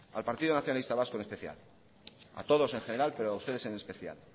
al partido nacionalista vasco en especial a todos el general pero a ustedes en especial